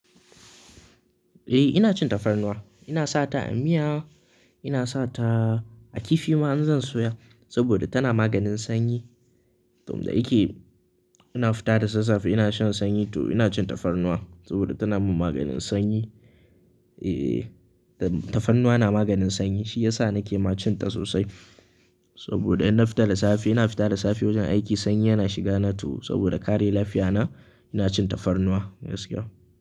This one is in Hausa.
Eh ina cin tafarnuwa, ina sa ta a miya, ina sa ta a kifi ma in zan soya saboda tana maganin sanyi. To, da yake ina fita da sassafe ina shan sanyi to ina cin tafarnuwa saboda tana min maganin sanyi. Eh, tafarnuwa na maganin sanyi shi yasa nake ma cin ta sosai. Saboda in na fita da safe, ina fita da safe wajen aiki sanyi yana shiga na to saboda kare lafiya na ina cin tafarnuwa gaskiya.